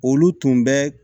Olu tun bɛ